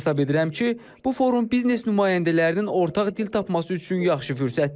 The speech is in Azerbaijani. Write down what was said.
Hesab edirəm ki, bu forum biznes nümayəndələrinin ortaq dil tapması üçün yaxşı fürsətdir.